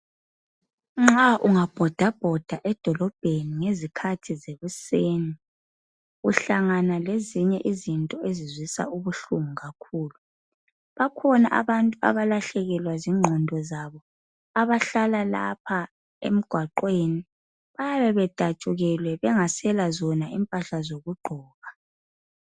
Nxa unga bhoda bhoda edolobheni ngezikhathi sekuseni uhlangana lezinye izinto ezibuhlungu kakhulu, bakhona abantu abalahlekelwa zingqondo zabo abahlala lapha emgwaqweni bayabe bedatshukelwe bengasela zona impahla zokugqoka.